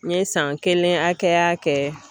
N ye san kelen hakɛya kɛ